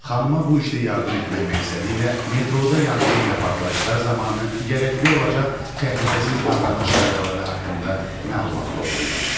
Xanıma bu işdə yardım etmək məqsədi ilə metroda yanğın və partlayışlar zamanı gərəkli olacaq təhlükəsiz davranış qaydaları haqqında məlumat toplayın.